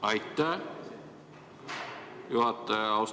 Aitäh, juhataja!